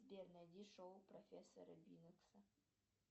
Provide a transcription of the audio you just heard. сбер найди шоу профессора бинокса